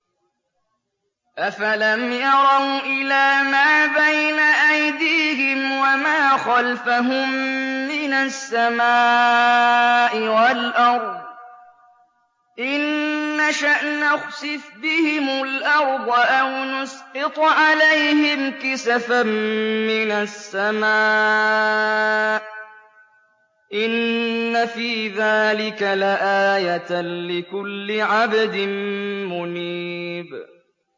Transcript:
أَفَلَمْ يَرَوْا إِلَىٰ مَا بَيْنَ أَيْدِيهِمْ وَمَا خَلْفَهُم مِّنَ السَّمَاءِ وَالْأَرْضِ ۚ إِن نَّشَأْ نَخْسِفْ بِهِمُ الْأَرْضَ أَوْ نُسْقِطْ عَلَيْهِمْ كِسَفًا مِّنَ السَّمَاءِ ۚ إِنَّ فِي ذَٰلِكَ لَآيَةً لِّكُلِّ عَبْدٍ مُّنِيبٍ